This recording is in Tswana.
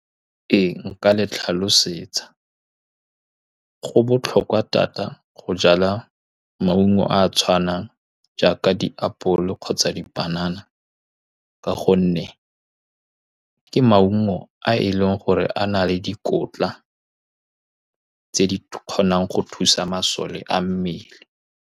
Ee, nka le tlhalosetsa, go botlhokwa thata go jala maungo a a tshwanang jaaka diapole kgotsa dipanana, ka gonne ke maungo a e leng gore a na le dikotla tse di kgonang go thusa masole a mmele.